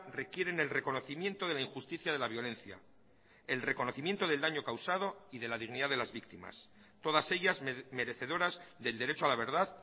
requieren el reconocimiento de la injusticia de la violencia el reconocimiento del daño causado y de la dignidad de las víctimas todas ellas merecedoras del derecho a la verdad